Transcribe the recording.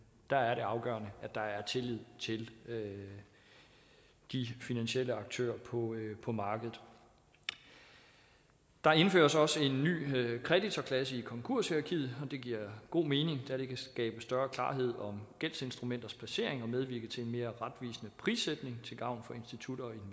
der er det afgørende at der er tillid til de finansielle aktører på på markedet der indføres også en ny kreditorklasse i konkurshierarkiet og det giver god mening da det kan skabe større klarhed om gældsinstrumenters placering og medvirke til en mere retvisende prissætning til gavn for institutter og